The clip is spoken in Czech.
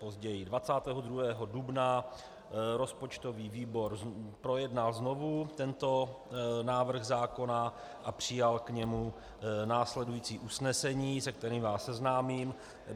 Později, 22. dubna, rozpočtový výbor projednal znovu tento návrh zákona a přijal k němu následující usnesení, se kterým vás seznámím.